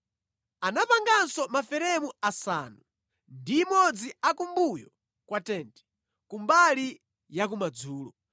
Anapanganso maferemu asanu ndi imodzi a kumbuyo kwa tenti, kumbali yakumadzulo,